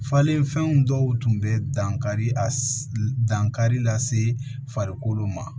Falenfɛnw dɔw tun bɛ dankari a dankari la se farikolo ma